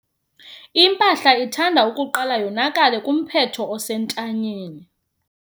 Impahla ithanda ukuqala yonakale kumphetho osentanyeni.